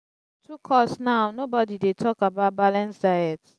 too cost now nobodi dey talk about balanced diet.